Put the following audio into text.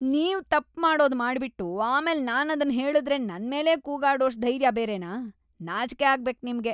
ನೀವು ತಪ್ಪ್ ಮಾಡೋದ್‌ ಮಾಡ್ಬಿಟ್ಟು ಆಮೇಲ್‌ ನಾನದ್ನ ಹೇಳುದ್ರೆ ನನ್ಮೇಲೇ ಕೂಗಾಡೋಷ್ಟು ಧೈರ್ಯ ಬೇರೆನಾ?! ನಾಚ್ಕೆ ಆಗ್ಬೇಕ್‌ ನಿಮ್ಗೆ.